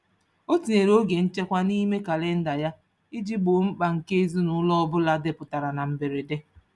O tinyere oge nchekwa n'ime kalịnda ya iji gboo mkpa nke ezinụụlọ ọbụla dapụtara na mberede.